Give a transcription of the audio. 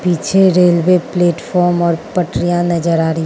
पीछे railway platform और पटरियां नजर आ रही --